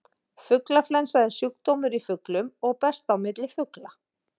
Fuglaflensa er sjúkdómur í fuglum og berst á milli fugla.